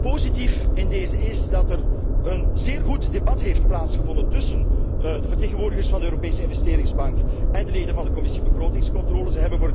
Positief in dezen is dat er een zeer goed debat heeft plaatsgevonden tussen de vertegenwoordigers van de Europese Investeringsbank en de leden van de Commissie begrotingscontrole.